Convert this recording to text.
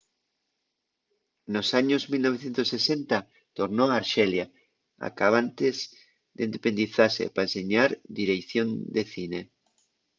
nos años 1960 tornó a arxelia acabantes d'independizase pa enseñar direición de cine